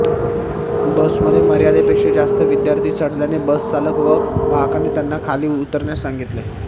बसमध्ये मर्यादेपेक्षा जास्त विद्यार्थी चढल्याने बसचालक व वाहकाने त्यांना खाली उतरण्यास सांगितले